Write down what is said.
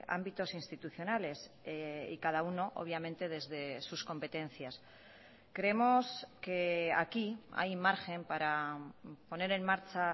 ámbitos institucionales y cada uno obviamente desde sus competencias creemos que aquí hay margen para poner en marcha